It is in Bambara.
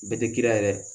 Bɛɛ tɛ kira yɛrɛ